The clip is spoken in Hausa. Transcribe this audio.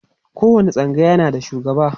kowani tsangaya na da shugaba